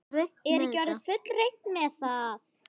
Er ekki orðið fullreynt með það?